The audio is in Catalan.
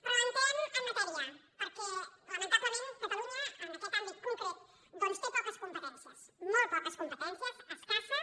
però entrem en matèria perquè lamentablement ca·talunya en aquest àmbit concret té poques competèn·cies molt poques competències escasses